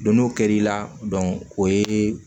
Don n'o kɛra i la o ye